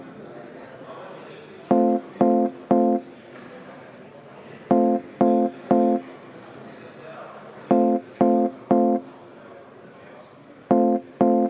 Ma palun enne seitse minutit vaheaega.